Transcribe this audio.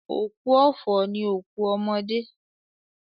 Òkú ọ̀fọ̀ ni òkú ọmọdé.